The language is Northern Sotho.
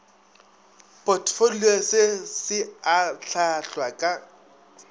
potfolio se se ahlaahlwa ka